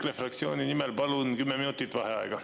EKRE fraktsiooni nimel palun 10 minutit vaheaega.